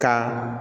Ka